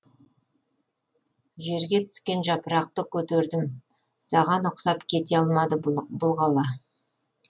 жерге түскен жапырақты көтердім саған ұқсап кете алмады бұл бұл қала